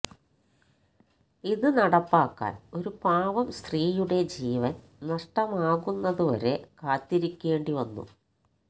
ഇത് നടപ്പാക്കാന് ഒരു പാവം സ്ത്രീയുടെ ജീവന് നഷ്ടമാകുന്നതുവരെ കാത്തിരിക്കേണ്ടിവന്നു